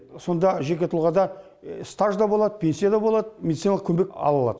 сонда жеке тұлғада стаж да болады пенсия да болады медициналық көмек ала алады